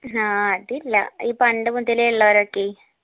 ആ അതില്ല ഈ പണ്ട് മുതലേ ഇള്ളവരൊക്കെ